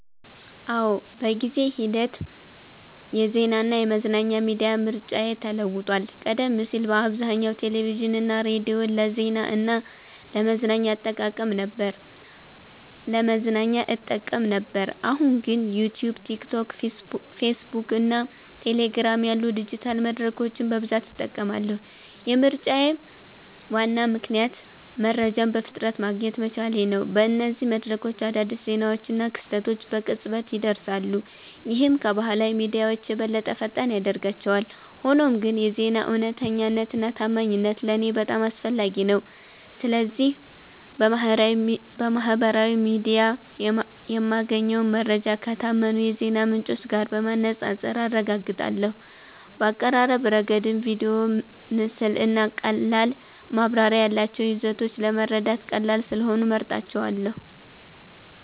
አዎ፣ በጊዜ ሂደት የዜናና የመዝናኛ ሚዲያ ምርጫዬ ተለውጧል። ቀደም ሲል በአብዛኛው ቴሌቪዥንና ሬዲዮን ለዜና እና ለመዝናኛ እጠቀም ነበር፣ አሁን ግን ዩትዩብ፣ ቲክቶክ፣ ፌስቡክ እና ቴሌግራም ያሉ ዲጂታል መድረኮችን በብዛት እጠቀማለሁ። የምርጫዬ ዋና ምክንያት መረጃን በፍጥነት ማግኘት መቻሌ ነው። በእነዚህ መድረኮች አዳዲስ ዜናዎችና ክስተቶች በቅጽበት ይደርሳሉ፣ ይህም ከባህላዊ ሚዲያዎች የበለጠ ፈጣን ያደርጋቸዋል። ሆኖም ግን የዜና እውነተኛነትና ታማኝነት ለእኔ በጣም አስፈላጊ ነው። ስለዚህ በማህበራዊ ሚዲያ የማገኘውን መረጃ ከታመኑ የዜና ምንጮች ጋር በማነጻጸር አረጋግጣለሁ። በአቀራረብ ረገድም ቪዲዮ፣ ምስል እና ቀላል ማብራሪያ ያላቸው ይዘቶች ለመረዳት ቀላል ስለሆኑ እመርጣቸዋለ